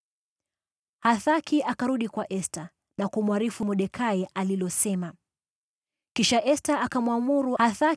Hathaki akarudi kwa Esta na kumwarifu alilolisema Mordekai.